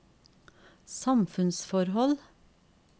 samfunnsforhold